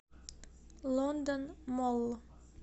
лондон молл